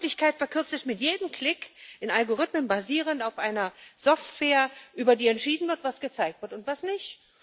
Die Wirklichkeit verkürzt sich mit jedem Klick in Algorithmen, basierend auf einer Software, über die entschieden wird, was gezeigt wird und was nicht.